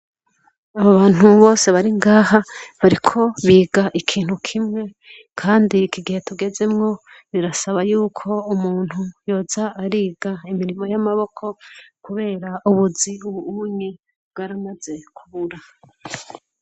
Abo bantu bose baringaha bariko biga ikintu kimwe kandi ikigihe tugezemwo birasaba yuko umuntu yoza ariga imirimo y’amaboko kubera ubuzi ubuye bwaramaze kubura.